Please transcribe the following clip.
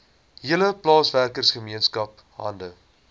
hele plaaswerkergemeenskap hande